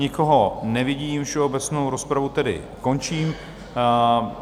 Nikoho nevidím, všeobecnou rozpravu tedy končím.